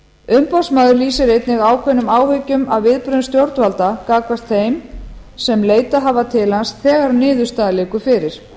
umboðsmaður lýsir einnig ákveðnum áhyggjum af viðbrögðum stjórnvalda gagnvart þeim sem leitað hafa til hans þegar niðurstaða liggur fyrir